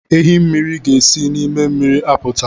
Ehi mmiri ga-esi nime miri aputa